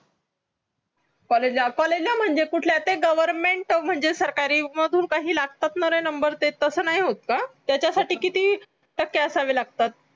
college ला college म्हणजे कुठला त्या government म्हणजे सरकारी मंधून काही लागता ना रे number ते तसा नाही होता का त्याचा साती किती टक्के असावे लागतात